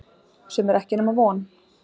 Sem er ekki nema von.